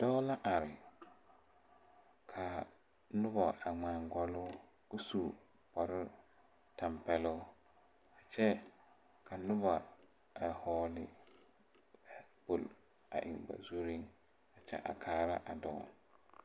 Dɔɔ la are kaa nobɔ a ngmaa gɔlloo ko su kparoo tampeɛloŋ kyɛ ka nobɔ a hɔɔle kpol a eŋ ba zurreŋ kyɛ a kaara a dɔɔ.